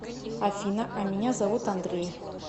афина а меня зовут андрей